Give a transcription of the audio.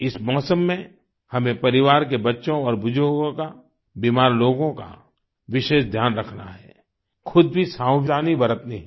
इस मौसम में हमें परिवार के बच्चों और बुजुर्गों का बीमार लोगों का विशेष ध्यान रखना है खुद भी सावधानी बरतनी है